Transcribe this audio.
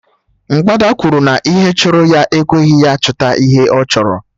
Mgbada kwuru na ihe chụrụ ya ekweghị ya chụta ihe ọ chọrọ